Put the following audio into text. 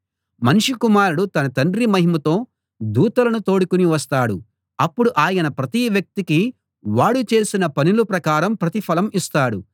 మనుష్య కుమారుడు తన తండ్రి మహిమతో దూతలను తోడుకుని వస్తాడు అప్పుడు ఆయన ప్రతి వ్యక్తికీ వాడు చేసిన పనుల ప్రకారం ప్రతిఫలం ఇస్తాడు